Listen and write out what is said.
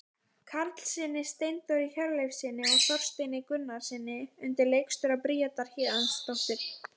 Karlssyni, Steindóri Hjörleifssyni og Þorsteini Gunnarssyni undir leikstjórn Bríetar Héðinsdóttur.